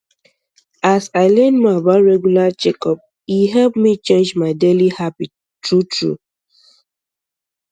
as i learn more about regular checkup e help me change my daily habit true true